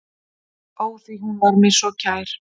Ó, því hún var mér svo kær.